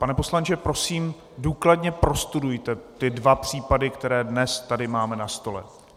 Pane poslanče, prosím, důkladně prostudujte ty dva případy, které dnes tady máme na stole.